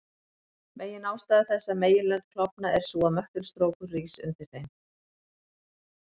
Meginástæða þess að meginlönd klofna er sú að möttulstrókur rís undir þeim.